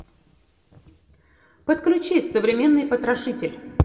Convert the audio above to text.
подключи современный потрошитель